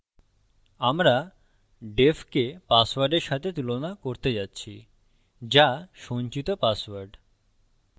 আমরা def কে পাসওয়ার্ডের সাথে তুলনা করতে যাচ্ছি যা সঞ্চিত পাসওয়ার্ড